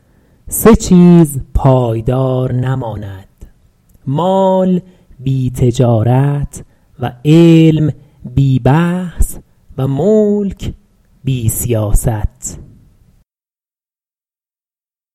سه چیز پایدار نماند مال بی تجارت و علم بی بحث و ملک بی سیاست